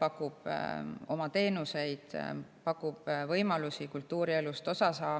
pakub oma teenuseid, pakub võimalusi saada kultuurielust osa.